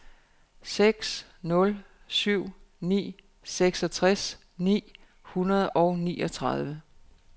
seks nul syv ni seksogtres ni hundrede og niogtredive